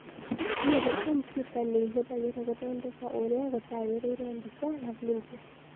Ũmũthĩ kompiuta nĩ ihũthagĩrũo gũthondeka ũrĩa gũtagĩrĩire mbica na vidio.